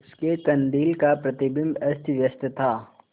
उसके कंदील का प्रतिबिंब अस्तव्यस्त था